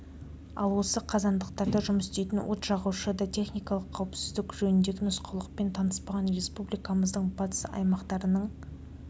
ал осы қазандықтарда жұмыс істейтін от жағушы да техникалық қауіпсіздік жөніндегі нұсқаулықпен таныспаған республикамыздың батыс аймақтарының